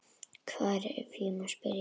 Hvar, ef ég má spyrja?